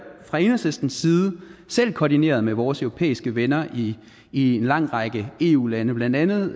fra enhedslistens side selv koordineret med vores europæiske venner i en lang række eu lande blandt andet